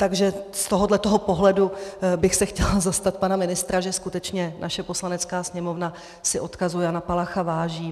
Takže z tohoto pohledu bych se chtěla zastat pana ministra, že skutečně naše Poslanecká sněmovna si odkazu Jana Palacha váží.